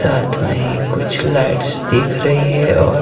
साथ में ही कुछ लाइट्स दिख रही है और--